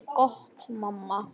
Gott mamma.